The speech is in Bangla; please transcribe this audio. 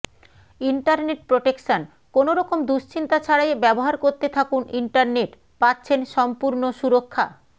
ইন্টারনেট প্রটেকশনঃ কোনরকম দুশ্চিন্তা ছারাই ব্যবহার করতে থাকুন ইন্টারনেট পাচ্ছেন সম্পুরন্য সুরক্ষ্যা